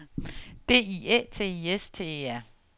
D I Æ T I S T E R